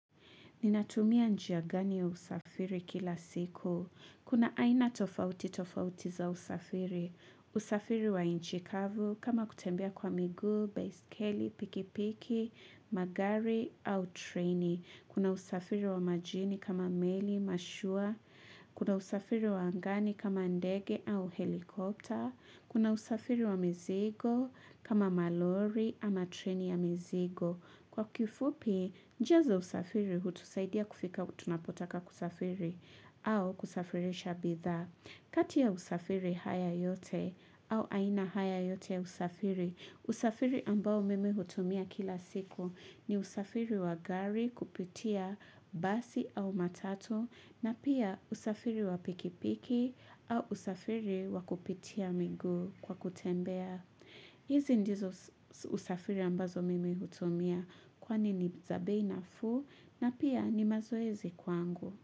Ninatumia njia gani ya usafiri kila siku? Kuna aina tofauti tofauti za usafiri. Usafiri wa nchikavu kama kutembea kwa miguu, baiskeli, pikipiki, magari au treni. Kuna usafiri wa majini kama meli, mashua. Kuna usafiri wa angani kama ndege au helikopta. Kuna usafiri wa mizigo kama malori ama treni ya mzigo. Kwa kifupi, njia za usafiri hutusaidia kufika tunapotaka kusafiri au kusafirisha bidhaa. Kati ya usafiri haya yote au aina haya yote usafiri, usafiri ambao mimi hutumia kila siku ni usafiri wagari kupitia basi au matatu na pia usafiri wapikipiki au usafiri wakupitia miguu kwa kutembea. Hizi ndizo usafiri ambazo mimi hutumia kwani ni za bei nafuu na pia ni mazoezi kwangu.